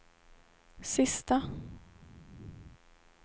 sista